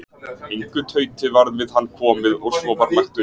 Engu tauti varð við hann komið og svo var lagt upp.